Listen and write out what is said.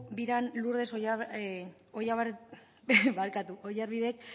biran lourdes oyarbidek